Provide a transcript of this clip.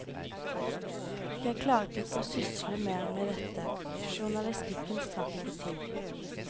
Jeg klarte ikke å sysle mer med dette, journalistikken strakk ikke til.